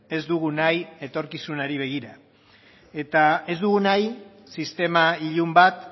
ez dugun nahi etorkizunari begira ez dugu nahi sistema ilun bat